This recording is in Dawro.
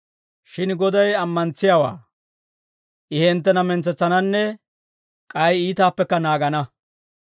Shin Goday ammantsiyaawaa; I hinttena mentsetsananne k'ay iitaappekka naagana.